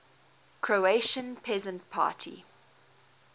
croatian peasant party